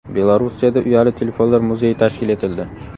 Belorussiyada uyali telefonlar muzeyi tashkil etildi .